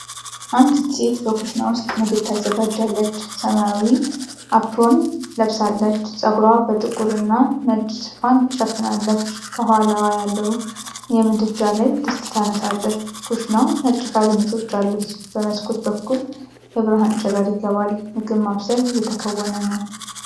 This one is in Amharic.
አንዲት ሴት በኩሽና ውስጥ ምግብ ታዘጋጃለች። ሰማያዊ አፕሮን ለብሳለች። ፀጉሯን በጥቁር እና ነጭ ሽፋን ሸፍናለች። ከኋላዋ ሆነው የምድጃ ላይ ድስት ታነሳለች። ኩሽናው ነጭ ካቢኔቶች አሉት። በመስኮት በኩል የብርሃን ጨረር ይገባል። ምግብ ማብሰል እየተከናወነ ነው።